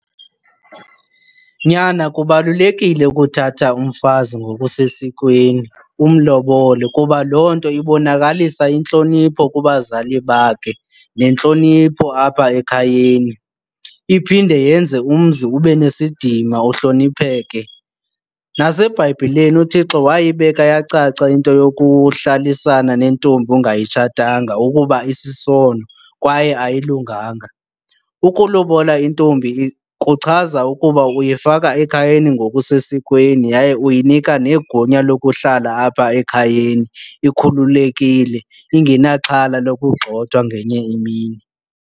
Nyana, kubalulekile ukuthatha umfazi ngokusesikweni umlobole kuba loo nto ibonakalisa intlonipho kubazali bakhe nentlonipho apha ekhayeni. Iphinde yenze umzi ube nesidima uhlonipheke. NaseBhayibhileni uThixo wayibeka yacaca into yokuhlalisana nentombi ongayitshatanga ukuba isisono kwaye ayilunganga. Ukulobola intombi kuchaza ukuba uyifaka ekhayeni ngokusesikweni yaye uyinika negunya lokuhlala apha ekhayeni ikhululekile ingenaxhala lokugxothwa ngenye imini.